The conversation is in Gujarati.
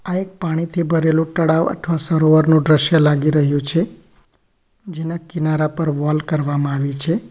આ એક પાણીથી ભરેલું ટળાવ અથવા સરોવરનું દ્રશ્ય લાગી રહ્યું છે જેના કિનારા પર વોલ કરવામાં આવી છે.